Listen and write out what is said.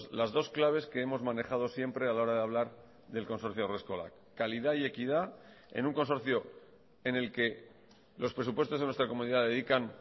las dos claves que hemos manejado siempre a la hora de hablar del consorcio haurreskolak calidad y equidad en un consorcio en el que los presupuestos de nuestra comunidad dedican